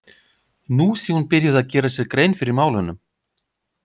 Nú sé hún byrjuð að gera sér grein fyrir málunum.